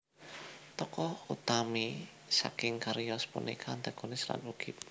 Tokoh utami saking cariyos punika antagonis lan ugi protagonis